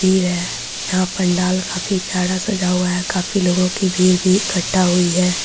भीड़ है यहाँ पंडाल काफी प्यारा सजा हुआ है काफी लोगो की भीड़ भी इक्कठा हुई है।